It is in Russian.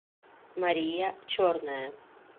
мария черная